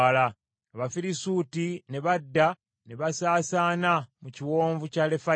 Abafirisuuti ne badda, ne basaasaana mu kiwonvu kya Lefayimu.